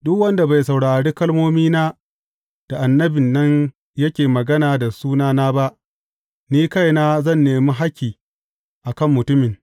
Duk wanda bai saurari kalmomina da annabin nan yake magana da sunana ba, ni kaina zan nemi hakki a kan mutumin.